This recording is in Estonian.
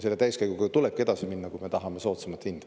Selle täiskäiguga tulebki edasi minna, kui me tahame soodsamat hinda.